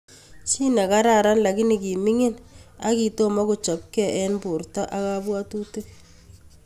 Chi ne kararan, lagini kimingin aki kitomokochopke eng borto ak kabwatutik